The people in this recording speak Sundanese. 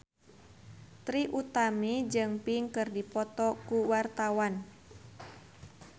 Trie Utami jeung Pink keur dipoto ku wartawan